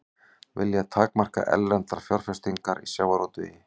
Vilja takmarka erlendar fjárfestingar í sjávarútvegi